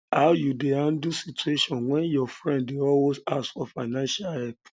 how you dey handle situation when um your friend um dey always ask for fiancial help